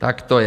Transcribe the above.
Tak to je!